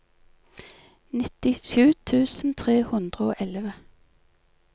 nittisju tusen tre hundre og elleve